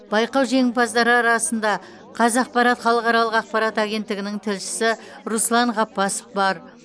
байқау жеңімпаздары арасында қазақпарат халықаралық ақпарат агенттігінің тілшісі руслан ғаббасов бар